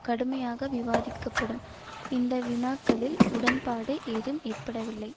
கடுமையாக விவாதிக்கப்படும் இந்த வினாக்களில் உடன்பாடு ஏதும் ஏற்படவில்லை